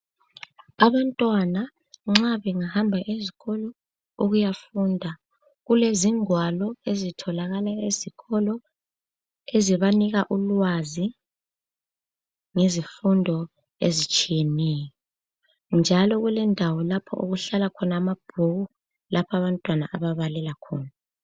Abantwana nxa bengahlamba ezikolo ukuyafunda kulezingwalo ezitholakala ezikolo ezibanika ulwazi ngezifundo ezitshiyeneyo njalo kulendawo lapho okuhlala khona amabhuku lapho abantwana ababalela khona.